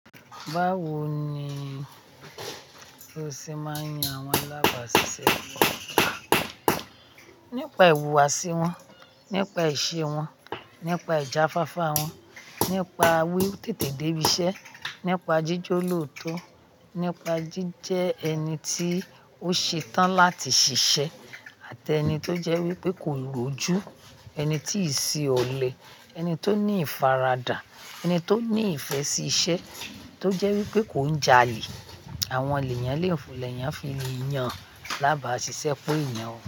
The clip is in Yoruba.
Báwo ni o ṣe máa ń yan àwọn alábàáṣiṣẹ́? Nípa ìwùwàsí wọn, nípa ìṣe wọn, nípa ìjáfáfá wọn, nípa wí tètè dé ibi iṣẹ́, nípa jíjó lóòótọ́, nípa jíjẹ ẹni tí ó ṣe tán láti ṣiṣẹ́ àti ẹni tó jẹ́ wípé kò rójú, ẹni tí ṣi ọ̀lẹ, ẹni tó ní ìfaradà, ẹni tó ní ìfẹ́ sí iṣẹ́ tó jẹ́ wípé kò ń jalè. Àwọn ènìyàn lè fọ̀lẹ̀ ẹni ń fi yàn lábàáṣiṣẹ́ èèyàn.